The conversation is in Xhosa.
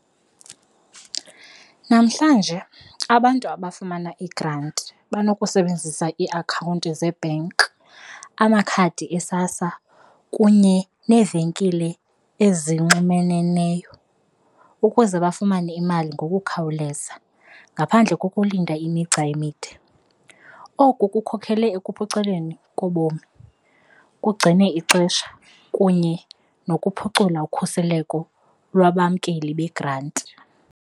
Namhlanje abantu abafumana igranti banokusebenzisa iakhawunti zebhenki, amakhadi eSASSA kunye neevenkile ezinxumeneneyo ukuze bafumane imali ngokukhawuleza ngaphandle kokulinda imigca emide. Oku kukhokhelela ekuphuculeni kobomi, kugcine ixesha kunye nokuphucula ukhuseleko lwabamkeli yegranti.